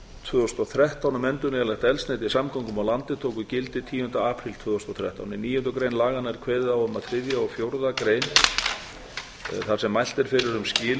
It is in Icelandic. tvö þúsund og þrettán um endurnýjanlegt eldsneyti í samgöngum á landi tóku gildi tíunda apríl tvö þúsund og þrettán í níundu grein laganna er kveðið á um að þriðja og fjórða grein þar sem mælt